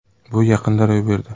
Bu yaqinda ro‘y berdi.